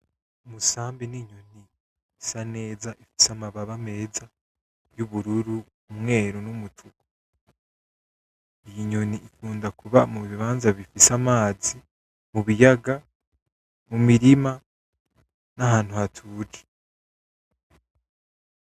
Umusambi ninyoni isa neza ifise amabara meza. Iyi nyoni ikund akuba mubibanza bifise amazi, mubiyaga, mumirima, nahantu hatuje.